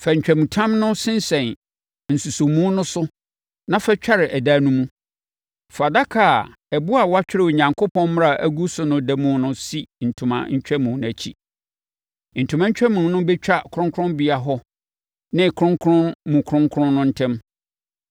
Fa ntwamutam no sensɛn nsosɔmu no so na fa tware ɛdan no mu. Fa adaka a ɛboɔ a wɔatwerɛ Onyankopɔn mmara agu so no da mu no si ntoma ntwamu no akyiri. Ntoma ntwamu no bɛtwa kronkronbea hɔ ne kronkron mu kronkron no ntam.